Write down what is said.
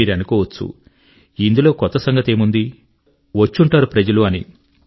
మీరనుకోవచ్చు ఇందులో కొత్త సంగతేముంది వచ్చుంటారు ప్రజలు అని